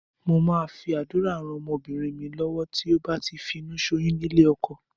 Mo máa fi àdúrà rán ọmọbìnrin mi lọ́wọ́ tí ó bá ti finúṣoyún nílé ọkọ.